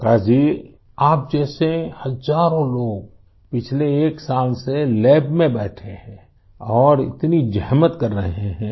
प्रकाश जी आप जैसे हजारों लोग पिछले एक साल से लैब में बैठे हैं और इतनी ज़हमत कर रहे हैं